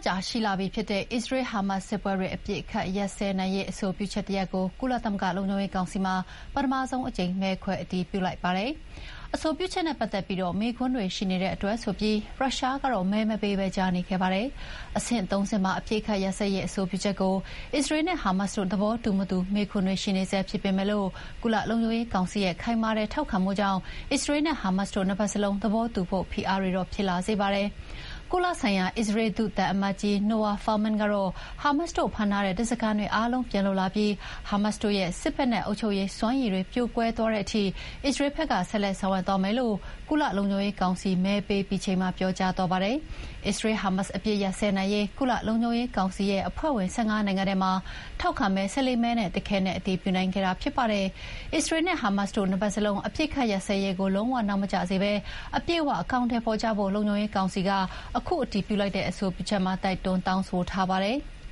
ကြာလာပြီဖြစ်တဲ့ အစ္စရေးလ်-ဟာမတ်စ်စစ်ပွဲတွေ အပစ်ရပ်စဲနိုင်ရေး အဆိုပြုချက်တရပ်ကို ကုလသမဂ္ဂလုံခြုံရေးကောင်စီမှာ ပထမဆုံးအကြိမ် မဲခွဲအတည်ပြုလိုက်ပါတယ်။ အဆိုပြုချက်နဲ့ပတ်သက်ပြီး မေးခွန်းတွေရှိနေတဲ့အတွက်ဆိုပြီး ရုရှားကတော့ မဲမပေးဘဲ ကြားနေခဲ့ပါတယ်။ အဆင့်၃ ဆင့်ပါ အပစ်အခတ်ရပ်စဲရေးအဆိုပြုချက်ကို အစ္စရေးလ်နဲ့ဟာမတ်စ်တို့ သဘောတူမတူ မေးခွန်းတွေရှိနေဆဲဖြစ်ပေမယ့် ကုလလုံခြုံရေးကောင်စီရဲ့ ခိုင်မာတဲ့ထောက်ခံမှုကြောင့် အစ္စရေးလ်နဲ့ဟာမတ်စ်တို့ နှစ်ဘက်စလုံးသဘောတူဖို့ ဖိအားတွေတော့ ဖြစ်လာစေပါတယ်။ ကုလဆိုင်ရာ အစ္စရေးလ်ဒုသံအမတ်ကြီး Noa Furman ကတော့ ဟာမတ်စ်တို့ဖမ်းထားတဲ့ ဓားစာခံတွေအားလုံးပြန်လွတ်လာပြီး ဟာမတ်စ်တို့ရဲ့ စစ်ဖက်နဲ့ အုပ်ချုပ်ရေးစွမ်းရည်တွေ ပြိုကွဲသွားတဲ့အထိ အစ္စရေးလ်ဘက်က ဆက်လက်ဆောင်ရွက်သွားမယ်လို့ ကုလလုံခြုံရေးကောင်စီမဲပေးပြီးချိန်မှာ ပြောကြားသွားပါတယ်။ အစ္စရေးလ်-ဟာမတ်စ်အပစ်ရပ်နိုင်ရေး ကုလလုံခြုံရေးကောင်စီရဲ့ အဖွဲ့ဝင် ၁၅ နိုင်ငံထဲမှာ ထောက်ခံမဲ ၁၄ မဲနဲ့ တခဲနက်အတည်ပြုနိုင်ခဲ့တာြဖစ်ပါတယ်။ အစ္စရေးလ်နဲ့ဟာမတ်စ်တို့ နှစ်ဘက်စလုံး အပစ်အခတ်ရပ်စဲရေးကို လုံးဝနောက်မကျစေဘဲ အပြည့်အဝအကောင်အထည်ဖော်ကြဖို့ လုံခြုံရေးကောင်စီက ခုအတည်ပြုလိုက်တဲ့ အဆိုပြုချက်မှာ တိုက်တွန်းတောင်းဆိုထားပါတယ်။